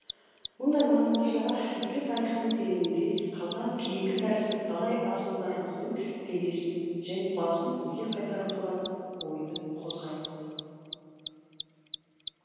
мұндай маңызды шара өткен тарихтың тереңінде қалған кейкі тәрізді талай асылдарымыздың денесін және басын елге қайтару туралы ойды қозғайды